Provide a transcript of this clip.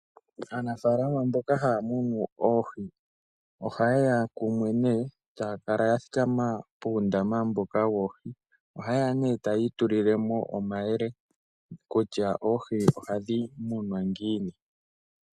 Aanafaalama mboka haya munu oohi ohayeya kumwe nee taya kala ya thika ma puundama mboka hawu kala wuna oohi taya itulile mo omayele kutya oohi ohadhi kunwa ngiini.